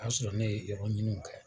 O y'a sɔrɔ ne ye yɔrɔ ɲiniw kɛ,